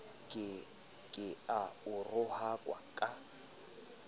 ke ha a rohakwa ka